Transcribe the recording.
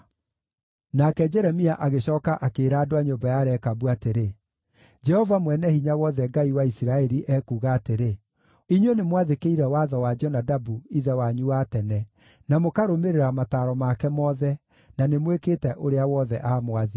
Nake Jeremia agĩcooka akĩĩra andũ a nyũmba ya Rekabu atĩrĩ, “Jehova Mwene-Hinya-Wothe, Ngai wa Isiraeli, ekuuga atĩrĩ: ‘Inyuĩ nĩmwathĩkĩire watho wa Jonadabu, ithe wanyu wa tene, na mũkarũmĩrĩra mataaro make mothe, na nĩmwĩkĩte ũrĩa wothe aamwathire.’